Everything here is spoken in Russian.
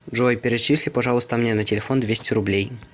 джой перечисли пожалуйста мне на телефон двести рублей